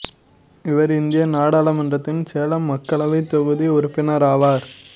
இவர் இந்திய நாடாளுமன்றத்தின் சேலம் மக்களவைத் தொகுதி உறுப்பினர் ஆவார்